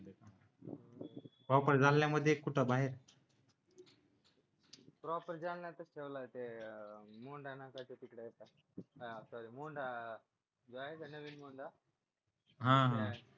proper जालन्यामध्ये कुठे बाहेर प्रॉपर जालन्यामध्ये ठेवला आहे मुंडा नाक्याच्या तिकडे आहे का नवीन मुंडा